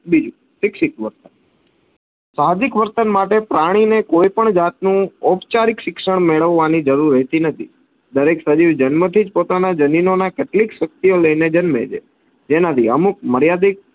બીજું શિક્ષિત વર્તન. સાહજિક વર્તન માટે પ્રાણીને કોઈ પણ જાતનું ઓપચારીક શિક્ષણ મેળવવાની જરૂર રેહતી નથી. દરેક સજીવ જન્મથી જ પોતાના જનીનો ના કેટલીક શક્તિઑ લઈને જન્મે છે જેનાથી અમુક મર્યાદિત